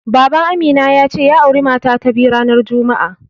Baban Amina ya ce, ya auri mata ta biyu ranar juma'a.